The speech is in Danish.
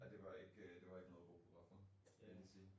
Ej det var ikke øh noget at råbe hurra for skal jeg lige sige